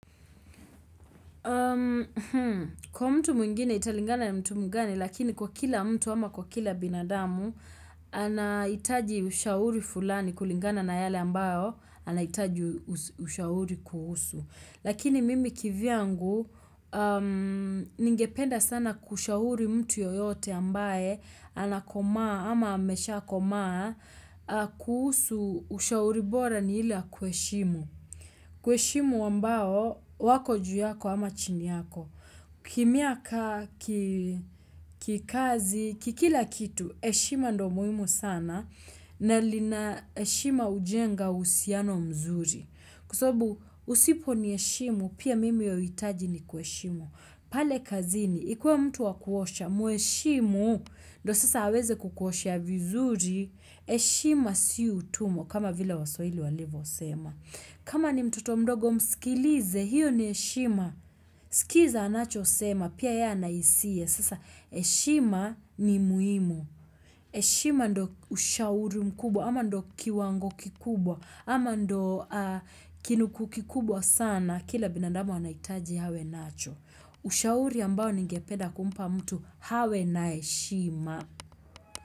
Kwa mtu mwingine italingana na mtu mgani lakini kwa kila mtu ama kwa kila binadamu anaitaji ushauri fulani kulingana na yale ambayo anaitaji ushauri kuhusu. Lakini mimi kivyangu ningependa sana kushauri mtu yoyote ambaye anakomaa ama ameshakomaa kuhusu ushauri bora ni ile ya kueshimu. Kueshimu ambao wako juu yako ama chini yako. Kimiaka, kikazi, kikila kitu, eshima ndo muhimu sana na lina eshima hujenga uhusiano mzuri. Kwa sababu usiponieshimu pia mimi hauitaji nikueshimu. Pale kazini, ikiwa mtu wakuosha, mueshimu, ndo sasa aweze kukuoshea vizuri, eshima si utumwa, kama vile waswahili walivosema. Kama ni mtoto mdogo mskilize, hiyo ni eshima, sikiza anachosema, pia ye ana isia, sasa eshima ni muimu. Eshima ndo ushauri mkubwa, ama ndo kiwango kikubwa, ama ndo kinukuu kikubwa sana, kila binadamu anaitaji hawe nacho. Ushauri ambao ningepeda kumpa mtu hawe na eshima.